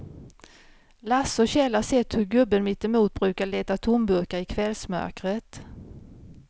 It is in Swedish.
Lasse och Kjell har sett hur gubben mittemot brukar leta tomburkar i kvällsmörkret.